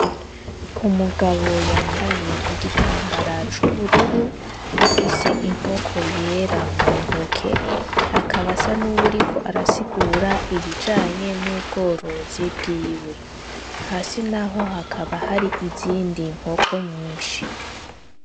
Umugabo yambaye igitambara cubururu afise inkoko yera mu ntoke akaba asa nuriko arasigura ibijanye n’ubworozi bwiwe hasi naho hakaba hari izindi nkoko nyinshi.